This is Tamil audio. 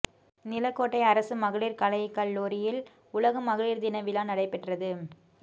நிலக்கோட்டை அரசுமகளிர் கலைக்கல்லூரியில் உலக மகளிர் தின விழா நடைபெற்றது